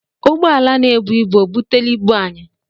Ụgbọala na-ebu ibu ọ butela ibu anyị?